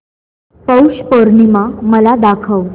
पौष पौर्णिमा मला दाखव